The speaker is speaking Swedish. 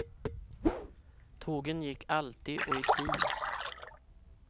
Tågen gick alltid och i tid.